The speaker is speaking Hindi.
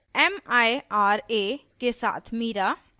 * mira के साथ mira